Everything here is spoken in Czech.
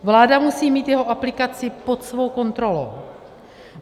Vláda musí mít jeho aplikaci pod svou kontrolou.